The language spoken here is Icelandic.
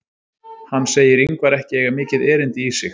Hann segir Ingvar ekki eiga mikið erindi í sig.